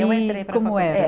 E como era eu entrei para a